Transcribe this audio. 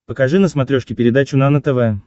покажи на смотрешке передачу нано тв